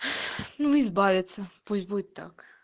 ну избавиться пусть будет так